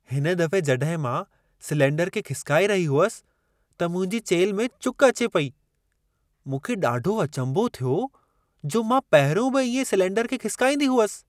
हिन दफ़े जॾहिं मां सिलेंडर खे खिसिकाए रही हुअसि, त मुंहिंजी चेल्ह में चुक अचे पेई। मूंखे ॾाढो अचंभो थियो छो जो मां पहिरियों बि इएं सिलेंडर खे खिसिकाईंदी हुअसि।